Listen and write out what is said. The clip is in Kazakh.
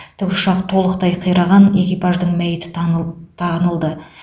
тікұшақ толықтай қираған экипаждың мәйіті таныл тағынылды